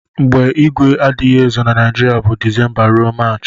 mgbe igwe adighi ezo na nigiria bu decemba rue marchi.